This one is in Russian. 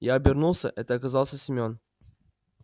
я обернулся это оказался семён